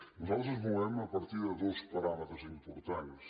nosaltres ens movem a partir de dos paràmetres importants